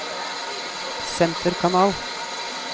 senterkanal